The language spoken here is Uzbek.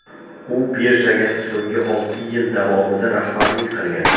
U birjaga so‘nggi olti yil davomida rahbarlik qilgan.